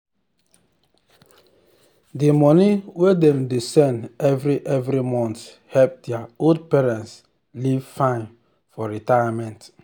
the money wey dem dey send every every month help their old parents live fine for retirement.